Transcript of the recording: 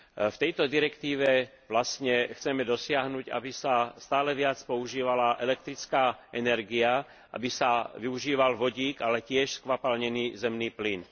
V tejto direktíve vlastne chceme dosiahnuť, aby sa stále viac používala elektrická energia, aby sa využíval vodík, ale tiež skvapalnený zemný plyn.